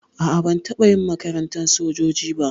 A'a ban taɓa yin makarantar sojoji ba.